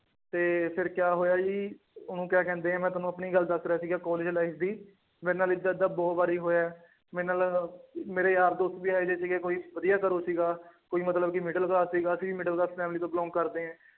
ਤੇ ਫਿਰ ਕਿਆ ਹੋਇਆ ਜੀ ਉਹਨੂੰ ਕਿਆ ਕਹਿੰਦੇ ਹੈ ਮੈਂ ਤੁਹਾਨੂੰ ਆਪਣੀ ਗੱਲ ਦੱਸ ਰਿਹਾ ਸੀਗਾ ਕਾਲਜ life ਦੀ ਮੇਰਾ ਨਾਲ ਏਦਾਂ ਏਦਾਂ ਬਹੁਤ ਵਾਰੀ ਹੋਇਆ ਹੈ ਮੇਰੇ ਨਾਲ ਮੇਰੇ ਯਾਰ ਦੋਸਤ ਵੀ ਇਹ ਜਿਹੇ ਸੀਗੇ ਕੋਈ ਵਧੀਆ ਘਰੋਂ ਸੀਗਾ ਕੋਈ ਮਤਲਬ ਕਿ middle class ਸੀਗਾ ਅਸੀਂ ਵੀ middle class family ਤੋਂ belong ਕਰਦੇ ਹੈ